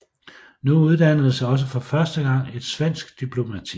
Nu uddannedes også for første gang et svensk diplomati